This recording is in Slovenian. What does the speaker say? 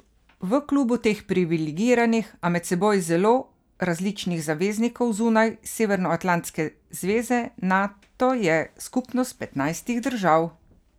V klubu teh priviligiranih, a med seboj zelo različnih zaveznikov zunaj severnoatlantske zveze Nato je skupnost petnajstih držav.